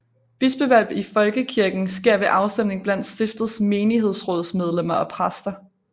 Bispevalg i Folkekirken sker ved afstemning blandt stiftets menighedsrådsmedlemmer og præster